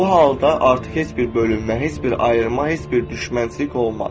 Bu halda artıq heç bir bölünmə, heç bir ayrılma, heç bir düşmənçilik olmaz.